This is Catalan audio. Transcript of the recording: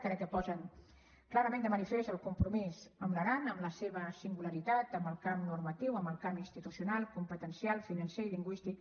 crec que posen clarament de manifest el compromís amb l’aran amb la seva singularitat en el camp normatiu en el camp institucional competencial financer i lingüístic